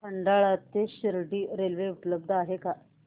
खंडाळा ते शिर्डी रेल्वे उपलब्ध आहे का